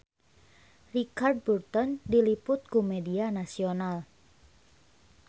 Richard Burton diliput ku media nasional